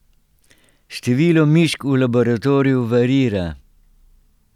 Število mišk v laboratoriju variira.